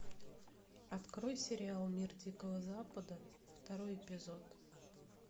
открой сериал мир дикого запада второй эпизод